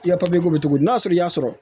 I ya papiye bɔ cogo di n'a sɔrɔ i y'a sɔrɔ